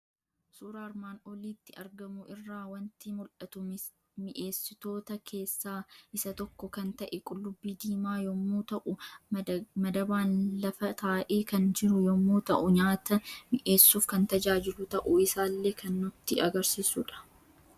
Suuraa armaan olitti argamu irraa waanti mul'atu; mi'essitoota keessaa isa tokko kan ta'e Qullubbii diimaa yommuu ta'u, madabaan lafa taa'e kan jiru yommuu ta'u nyaata mi'essuuf kan tajaajilu ta'uu isaallee kan nutti agarsiisudha.